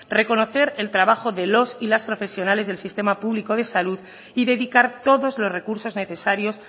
reconocer el trabajo de los y las profesionales del sistema público de salud y dedicar todos los recursos necesarios